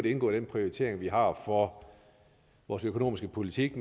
indgå i den prioritering vi har for vores økonomiske politik